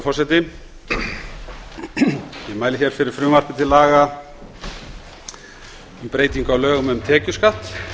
ég mæli fyrir frumvarpi til laga um breytingu á lögum um tekjuskatt